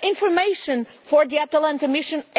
information for the Atalanta mission?